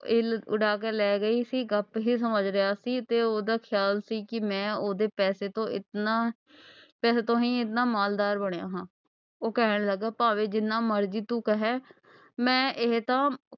ਇੱਲ ਉਡਾ ਕੇ ਲਏ ਗਈ ਸੀ ਗੱਪ ਹੀ ਸਮਝ ਰਿਹਾ ਸੀ ਤੇ ਉਹਦਾ ਖ਼ਿਆਲ ਸੀ ਕਿ ਮੈਂ ਉਹਦੇ ਪੈਸੇ ਤੋਂ ਇਤਨਾ, ਪੈਸੇ ਤੋਂ ਹੀ ਇਤਨਾ ਮਾਲਦਾਰ ਬਣਿਆ ਹਾਂ। ਉਹ ਕਹਿਣ ਲੱਗਾ ਭਾਵੇਂ ਜਿੰਨਾ ਮਰਜੀ ਤੂੰ ਕਹਿ। ਮੈਂ ਇਹ ਤਾਂ,